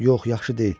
Yox, yaxşı deyil.